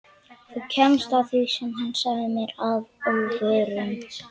Þú kemst að því sagði hann mér að óvörum.